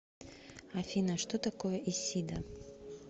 афина что такое исида